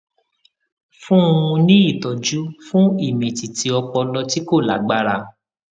fún un ní ìtọjú fún ìmìtìtì ọpọlọ tí kò lágbára